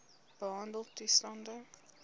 behandeltoestande